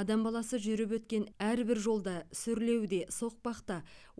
адам баласы жүріп өткен әрбір жолда сүрлеуде соқпақта